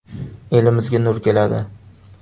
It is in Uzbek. Elimizga nur keladi”.